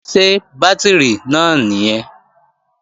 Ṣé bátìrì náà nìyẹn?